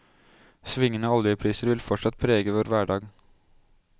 Svingende oljepriser vil fortsatt prege vår hverdag.